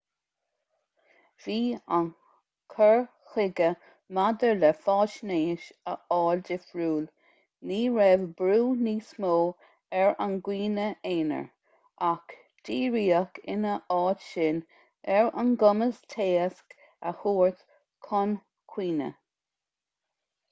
bhí an cur chuige maidir le faisnéis a fháil difriúil ní raibh brú níos mó ar an gcuimhne aonair ach díríodh ina áit sin ar an gcumas téacs a thabhairt chun cuimhne